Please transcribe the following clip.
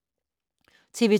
TV 2